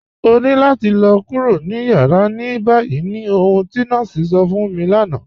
Ọ̀ ní làtì lọ̀ kúrò ní yàrá ní báyì ní ọ̀hun ti nọọ̀sí sọ̀ fún mi lánà.